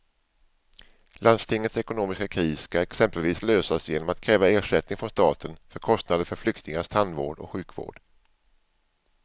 Landstingets ekonomiska kris ska exempelvis lösas genom att kräva ersättning från staten för kostnader för flyktingars tandvård och sjukvård.